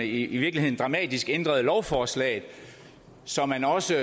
i virkeligheden dramatisk ændrede lovforslaget så man også